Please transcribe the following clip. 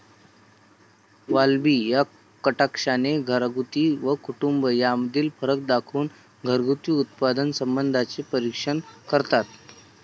वाल्बी या कटाक्षाने 'घरगुती' व 'कुटुंब' यामधील फरक दाखवून घरगुती उत्पादन संबंधांचे परीक्षण करतात.